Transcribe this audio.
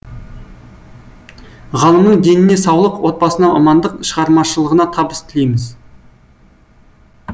ғалымның деніне саулық отбасына амандық шығармашылығына табыс тілейміз